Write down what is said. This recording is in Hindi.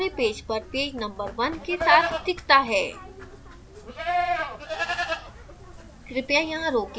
contents भी पूरे पेज पर पेज number 1 के साथ दिखता है